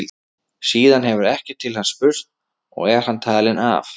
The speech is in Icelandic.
Síðan hefur ekkert til hans spurst og er hann talinn af.